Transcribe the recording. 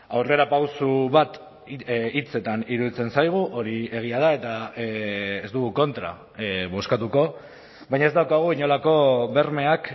aurrerapauso bat hitzetan iruditzen zaigu hori egia da eta ez dugu kontra bozkatuko baina ez daukagu inolako bermeak